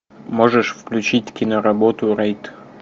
можешь включить киноработу рейд